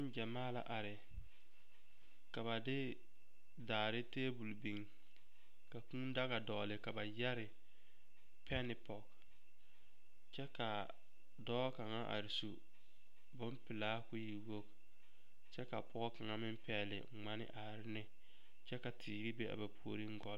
Gyɛmaa la are ka ba de daare teebol biŋ ka kūū daga dɔɔle ka ba yɛre pɛne pɔge kyɛ k'a dɔɔ kaŋa are su bompelaa k'o e wogi kyɛ ka pɔge kaŋa meŋ pɛgele ŋmane are ne kyɛ ka teere be a ba puoriŋ gɔ.